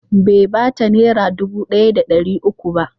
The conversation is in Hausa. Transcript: Bai ba ta Naira dubu ɗaya da ɗari uku ba.